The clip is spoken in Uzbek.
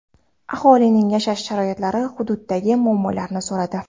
Aholining yashash sharoitlari, hududdagi muammolarni so‘radi.